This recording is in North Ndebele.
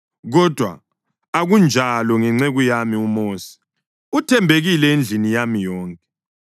Kodwa akunjalo ngenceku yami uMosi; uthembekile endlini yami yonke.